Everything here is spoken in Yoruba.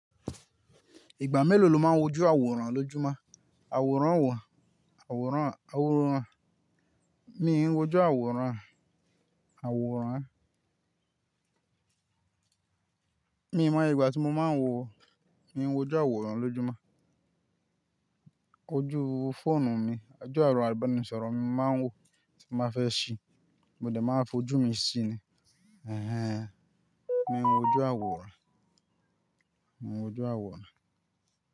Ìgbà mélòó lo máa ń wojú àwòrán lójúmọ́? Àwòrán wà, àwòrán, àwòrán. Mi wòju àwòrán, àwòrán. Mi ò mọ iye ìgbà tí mo máa ń wò, mi ń wòju àwòrán lójúmọ́. Ojú fóònù mi, ojú àwọn ìbánisọ̀rọ̀ mi máa ń wò tí máa fẹ́ ṣí, mo dẹ̀ máa fojú mi si ni. Ẹ̀hẹn. Mi ń wòju àwòrán, mò ń wòju àwòrán.